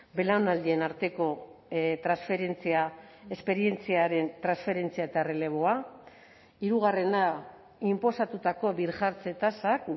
belaunaldien arteko transferentzia esperientziaren transferentzia eta erreleboa hirugarrena inposatutako birjartze tasak